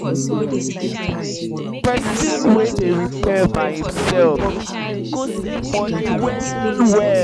pesin wey do repair by imself go save moni well well